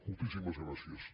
moltíssimes gràcies